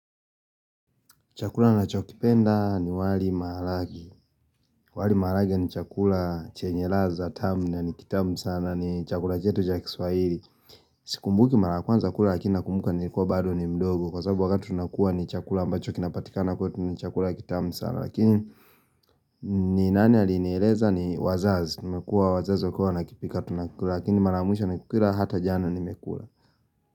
Chakula ninachokipenda ni wali maharage. Wali maharage ni chakula chenye ladha tamu na ni kitamu sana ni chakula chetu cha kiswahili. Sikumbuki mara ya kwanza kula lakini nakumbuka nilikuwa bado ni mdogo. Kwa sababu wakati tunakuwa ni chakula ambacho kinapatikana kwetu ni chakula kitamu sana. Lakini ni nani alinieleza ni wazazi. Imekuwa wazazi wakiwa wanakipika tunakula lakini mara ya mwisho nikukula hata jana nimekula.